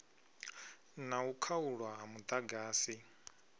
na u khaulwa ha muḓagasi